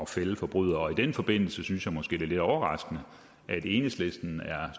at fælde forbrydere i den forbindelse synes jeg måske det er lidt overraskende at enhedslisten er